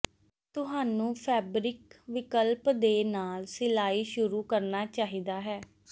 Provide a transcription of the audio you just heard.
ਤੁਹਾਨੂੰ ਫੈਬਰਿਕ ਵਿਕਲਪ ਦੇ ਨਾਲ ਸਿਲਾਈ ਸ਼ੁਰੂ ਕਰਨਾ ਚਾਹੀਦਾ ਹੈ